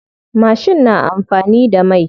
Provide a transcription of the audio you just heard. Mashin na amfani da mai.